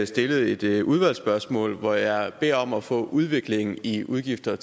stillet et udvalgsspørgsmål hvor jeg beder om at få udviklingen i udgifter